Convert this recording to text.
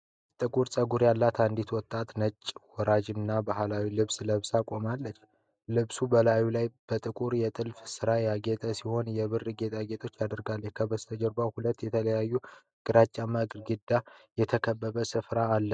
ጥቁር ጸጉር ያላት አንዲት ወጣት ነጭ፣ ወራጅና ባህላዊ ልብስ ለብሳ ቆማለች። ልብሱ በላዩ ላይ በጥቁር የጥልፍ ሥራ ያጌጠ ሲሆን፣ የብር ጌጣጌጦችንም አድርጋለች። ከበስተጀርባ በሁለት የተለያዩ ግራጫማ ግድግዳዎች የተከበበ ስፍራ አለ።